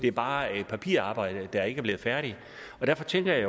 er bare et papirarbejde der ikke er blevet færdigt og derfor tænker jeg